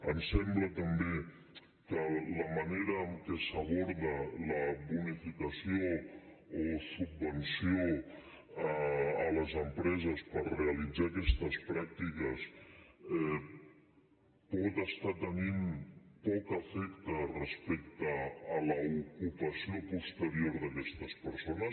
ens sembla també que la manera en què s’aborda la bonificació o subvenció a les empreses per realitzar aquestes pràctiques pot estar tenint poc efecte respecte a l’ocupació posterior d’aquestes persones